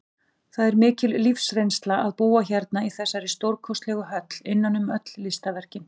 Það er mikil lífsreynsla að búa hérna í þessari stórkostlegu höll, innan um öll listaverkin.